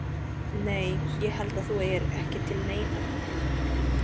Nei. ég held að þú eigir ekki til neinar tilfinningar.